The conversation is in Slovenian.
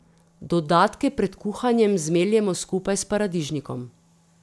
Dodatke pred kuhanjem zmeljemo skupaj s paradižnikom.